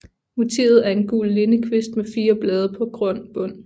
Motivet er en gul lindekvist med fire blade på grøn bund